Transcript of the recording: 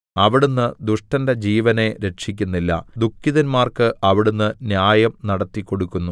അവിടുന്ന് ദുഷ്ടന്റെ ജീവനെ രക്ഷിക്കുന്നില്ല ദുഃഖിതന്മാർക്ക് അവിടുന്ന് ന്യായം നടത്തിക്കൊടുക്കുന്നു